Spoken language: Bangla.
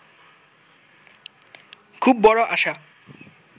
খুব বড় আশা